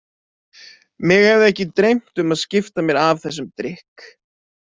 Mig hefði ekki dreymt um að skipta mér af þessum drykk.